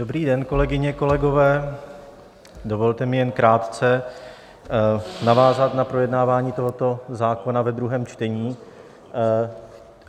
Dobrý den, kolegyně, kolegové, dovolte mi jen krátce navázat na projednávání tohoto zákona ve druhém čtení.